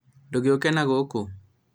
ndũgĩũke nagũkũ